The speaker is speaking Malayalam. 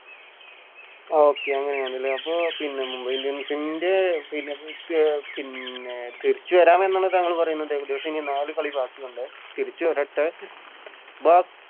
Okay അങ്ങനെ ആന്ന് ലെ അപ്പൊ പിന്നെ Mumbai indians team ൻറെ പിന്നെ ത് പിന്നെ തിരിച്ച് വരാമെന്ന് താങ്കൾ പറയുന്നുണ്ട് ഏകദേശം ഒരു നാല് കളി ബാക്കിയുണ്ട് തിരിച്ച് വരട്ടെ ന്താ